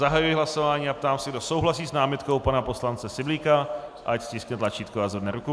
Zahajuji hlasování a ptám se, kdo souhlasí s námitkou pana poslance Syblíka, ať stiskne tlačítko a zvedne ruku.